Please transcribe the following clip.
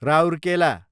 Rourkela